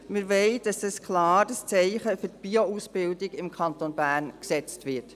Wir wollen, dass ein klares Zeichen für die Bio-Ausbildung im Kanton Bern gesetzt wird.